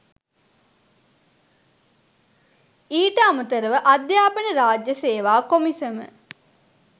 ඊට අමතරව අධ්‍යාපන රාජ්‍ය සේවා කොමිසම